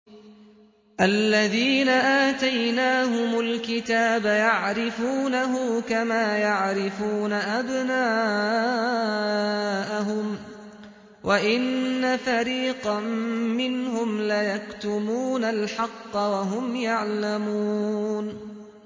الَّذِينَ آتَيْنَاهُمُ الْكِتَابَ يَعْرِفُونَهُ كَمَا يَعْرِفُونَ أَبْنَاءَهُمْ ۖ وَإِنَّ فَرِيقًا مِّنْهُمْ لَيَكْتُمُونَ الْحَقَّ وَهُمْ يَعْلَمُونَ